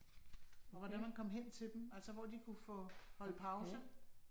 Og hvordan man kom hen til dem, altså hvor de kunne få holde pause